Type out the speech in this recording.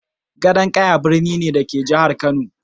Gadon Ƙaya birni ne, da ke a Jihar Kano.